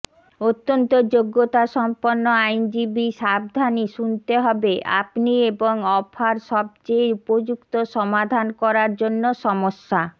অত্যন্ত যোগ্যতাসম্পন্ন আইনজীবী সাবধানে শুনতে হবে আপনি এবং অফার সবচেয়ে উপযুক্ত সমাধান করার জন্য সমস্যা